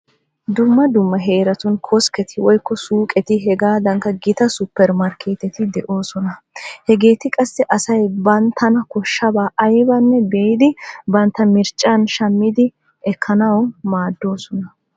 Dumma dumma heeratun koskketi woykko suuqeti hegaadankka gita suppeermarkkeeteti de'oosona. Hageeti qassi asay banttana koshshidaba aybaanne biidi bantt marccuwan shammidi ekkanawu maaddoosona.